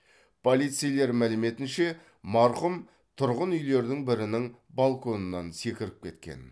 полицейлер мәліметінше марқұм тұрғын үйлердің бірінің балконынан секіріп кеткен